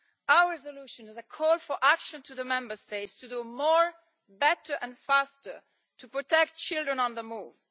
Our resolution is a call for action from the Member States to do more, better and faster, to protect children on the move.